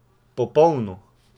Popolno!